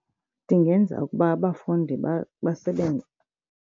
Ndingenza ukuba abafundi basebenze.